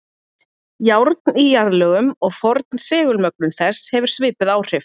Járn í jarðlögum og forn segulmögnun þess hefur svipuð áhrif.